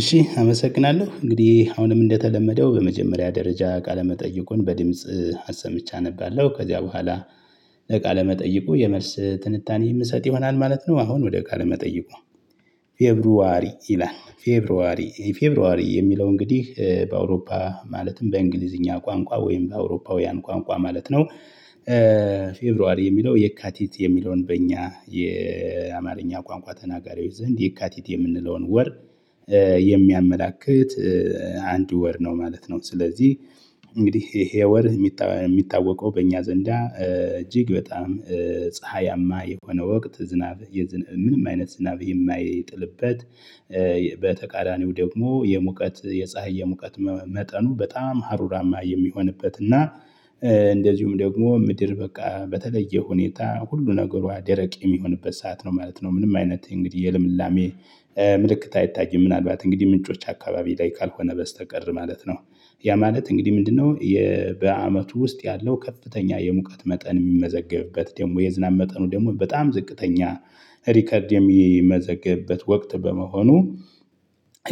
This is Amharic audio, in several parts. እሺ አመሰግናለሁ እንግዲህ አሁንም እንደተለመደው በመጀመሪያ ደረጃ ቃለመጠየቁን በድምጽ አሰምቼ አነባለው ከዚያ በኋላ በቃለ መጠይቁ የመልስ ትንታኔ የምሰጥ ይሆናል ማለት ነው። አሁን ወደ ቃለ መጠይቁ። ፌብሩዋሪ ይላል ፌብሩዋሪ ፌብሩዋሪ የሚለው እንግዲህ በአውሮፓ ማለትም በእንግሊዝኛ ቋንቋ ወይም በአውሮፓውያን ቋንቋ ማለት ነው። ፌብሩዋሪ የሚለው የካቲት የሚለውን በእኛ የአማርኛ ቋንቋ ተናጋሪዎች ዘንድ የካቲት የምንለውን ወር የሚያመላክት አንድ ወር ነው ማለት ነው። ስለዚህ እንግዲህ ይሄ ወርህ የሚታወቀው በእኛ ዘንዳ እጅግ በጣም ፀሀያማ የሆነ ወቅት ዝናብ የዝናብ ምንም አይነት ዝናብ የማይጥልበት በተቃራኒው ደግሞ የሙቀት የፀሀይ የሙቀት መጠኑ በጣም ሀሩራማ የሚሆንበት እና እንደዚሁም ደግሞ ምድር በቃ በተለየ ሁኔታ ሁሉ ነገሯ ደረቅ የሚሆንበት ሰዓት ነው ማለት ነው። ምንም አይነት እንግዲህ የልምላሜ ምልክት አይታይም ምናልባት እንግዲህ ምንጮች አካባቢ ላይ ካልሆነ በስተቀር ማለት ነው። ያ ማለት እንግዲህ ምንድነው? በአመቱ ውስጥ ያለው ከፍተኛ የሙቀት መጠን የሚመዘገብበት ደግሞ የዝናብ መጠኑ ደግሞ በጣም ዝቅተኛ ሪከርድ የሚመዘገብበት ወቅት በመሆኑ።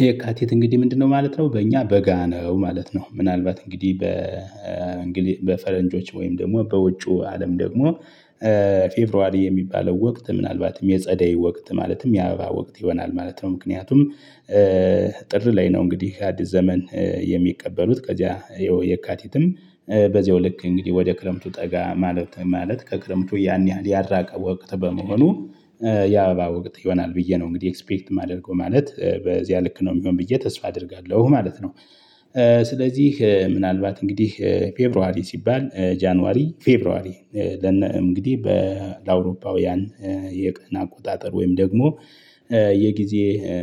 የካቲት እንግዲህ ምንድነው ማለት ነው? በእኛ በጋ ነው ማለት ነው። ምናልባት እንግዲህ በእንግሊዝ በፈረንጆች ወይም ደግሞ በውጩ አለም ደግሞ። ፌብሩዋሪ የሚባለው ወቅት ምናልባትም የጸደይ ወቅት ማለትም የአበባ ወቅት ይሆናል ማለት ነው። ምክንያቱም ጥር ላይ ነው እንግዲህ አዲስ ዘመን የሚቀበሉት ከዚያ የካቲትም በዚያው ልክ እንግዲህ ወደ ክረምቱ ጠጋ ማለት ማለት ከክረምቱ ያን ያህል ያራቀ ወቅት በመሆኑ የአበባ ወቅት ይሆናል ብዬ ነው። እንግዲህ ኤክስፔክት የማደርገው ማለት በዚያ ልክ ነው የሚሆን ብዬ ተስፋ አደርጋለሁ ማለት ነው። ስለዚህ ምናልባት እንግዲህ ፌብሯሪ ሲባል ጃንዋሪ ፌብሯሪ ለነ እንግዲህ በለአውሮፓውያን የቀን አቆጣጠር ወይም ደግሞ የጊዜ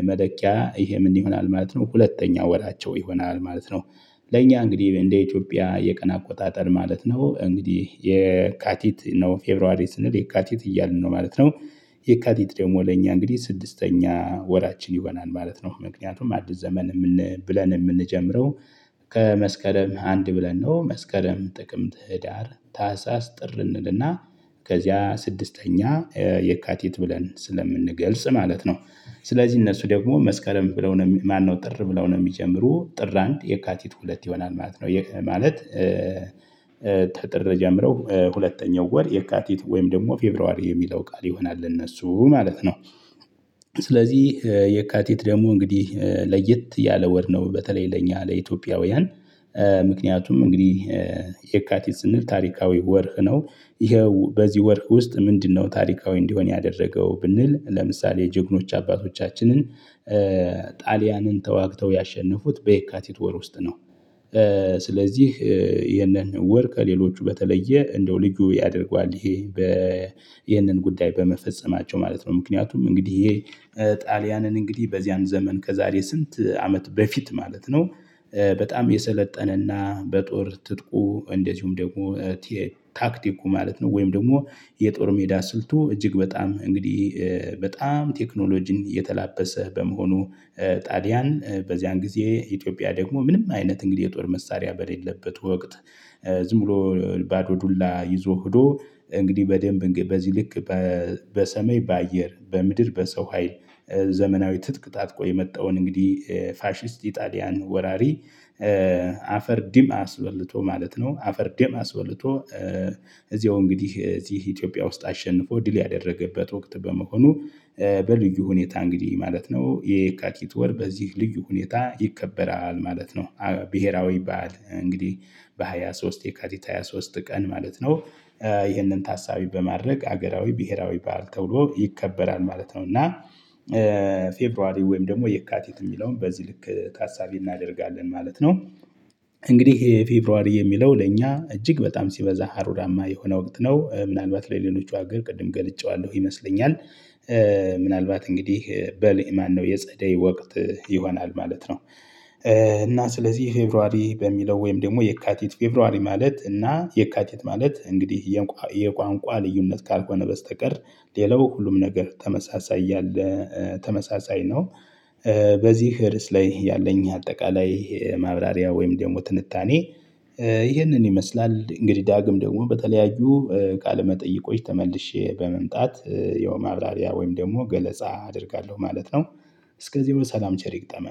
መለኪያ ይሄ ምን ይሆናል ማለት ነው? ሁለተኛ ወራቸው ይሆናል ማለት ነው። ለእኛ እንግዲህ እንደ ኢትዮጵያ የቀን አቆጣጠር ማለት ነው እንግዲህ የካቲት ነው ፌብሩዋሪ ስንል የካቲት እያልን ነው ማለት ነው። የካቲት ደግሞ ለእኛ እንግዲህ ስድስተኛ ወራችን ይሆናል ማለት ነው። ምክንያቱም አዲስ ዘመን የምን ብለን የምንጀምረው ከመስከረም አንድ ብለን ነው መስከረም ጥቅምት ህዳር ታህሳስ ጥር እንልና ከዚያ ስድስተኛ የካቲት ብለን ስለምንገልጽ ማለት ነው። ስለዚህ እነሱ ደግሞ መስከረም ብለው ነው ማነው? ጥር ብለው ነው የሚጀምሩ ጥር አንድ የካቲት ሁለት ይሆናል ማለት ነው። ይህ ማለት። ከጥር ጀምረው ሁለተኛው ወር የካቲት ወይም ደግሞ ፌብሩዋሪ የሚለው ቃል ይሆናል ለእነሱ ማለት ነው። ስለዚህ የካቲት ደግሞ እንግዲህ ለየት ያለ ወር ነው። በተለይ ለእኛ ለኢትዮጵያውያን ምክንያቱም እንግዲህ የካቲት ስንል ታሪካዊ ወርህ ነው። ይኸው በዚህ ወርህ ውስጥ ምንድነው ታሪካዊ እንዲሆን ያደረገው ብንል ለምሳሌ ጀግኖች አባቶቻችንን ጣሊያንን ተዋግተው ያሸነፉት በየካቲት ወር ውስጥ ነው። ስለዚህ ይህንን ወር ከሌሎቹ በተለየ እንደው ልዩ ያደርገዋል ይሄ በ ይህንን ጉዳይ በመፈጸማቸው ማለት ነው። ምክንያቱም እንግዲህ ይህ ጣሊያንን እንግዲህ በዚያን ዘመን ከዛሬ ስንት አመት በፊት ማለት ነው። በጣም የሰለጠነና በጦር ትጥቁ እንደዚሁም ደግሞ ታክቲኩ ማለት ነው ወይም ደግሞ የጦር ሜዳ ስልቱ እጅግ በጣም እንግዲህ በጣም ቴክኖሎጂን የተላበሰ በመሆኑ ጣሊያን በዚያን ጊዜ ኢትዮጵያ ደግሞ ምንም አይነት እንግዲህ የጦር መሳሪያ በሌለበት ወቅት። ዝም ብሎ ባዶ ዱላ ይዞ ሂዶ እንግዲህ በደንብ በዚህ ልክ በሰማይ በአየር በምድር በሰው ሀይል ዘመናዊ ትጥቅ ታጥቆ የመጣውን እንግዲህ ፋሺስት ኢጣሊያን ወራሪ። አፈር ዲም አስበልቶ ማለት ነው አፈር ዲም አስበልቶ። እዚያው እንግዲህ እዚህ ኢትዮጵያ ውስጥ አሸንፎ ድል ያደረገበት ወቅት በመሆኑ በልዩ ሁኔታ እንግዲህ ማለት ነው የየካቲት ወር በዚህ ልዩ ሁኔታ ይከበራል ማለት ነው። ብሄራዊ በዓል እንግዲህ በሃያ ሶስት የካቲት ሃያ ሶስት ቀን ማለት ነው። ይህንን ታሳቢ በማድረግ ሀገራዊ ብሄራዊ በዓል ተብሎ ይከበራል ማለት ነው። እና ፌብሩዋሪ ወይም ደግሞ የካቲት የሚለውን በዚህ ልክ ታሳቢ እናደርጋለን ማለት ነው። እንግዲህ ይሄ ፌብሩዋሪ የሚለው ለእኛ እጅግ በጣም ሲበዛ ሀሩራማ የሆነ ወቅት ነው። ምናልባት ለሌሎች ሀገር ቅድም ገልጬዋለሁ ይመስለኛል። ምናልባት እንግዲህ በል ማነው የጸደይ ወቅት ይሆናል ማለት ነው። እና ስለዚህ ፌብርዋሪ በሚለው ወይም ደግሞ የካቲት ፌብሩዋሪ ማለት እና የካቲት ማለት እንግዲህ የቋንቋ ልዩነት ካልሆነ በስተቀር ሌላው ሁሉም ነገር ተመሳሳይ ያለ ተመሳሳይ ነው። በዚህ ርዕስ ላይ ያለኝ አጠቃላይ ማብራሪያ ወይም ደግሞ ትንታኔ ይህንን ይመስላል እንግዲህ ዳግም ደግሞ በተለያዩ ቃለ መጠይቆች ተመልሼ በመምጣት የማብራሪያ ወይም ደግሞ ገለጻ አደርጋለሁ ማለት ነው። እስከዚህ በሰላም ቸር ይግጠመን